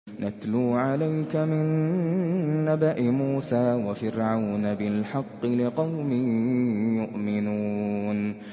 نَتْلُو عَلَيْكَ مِن نَّبَإِ مُوسَىٰ وَفِرْعَوْنَ بِالْحَقِّ لِقَوْمٍ يُؤْمِنُونَ